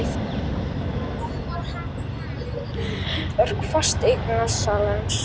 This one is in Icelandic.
Nú var hann kominn í hlutverk fasteignasalans.